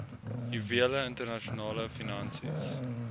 juwele internasionale finansies